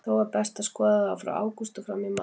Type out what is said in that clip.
Þó er best að skoða það frá ágúst og fram í mars.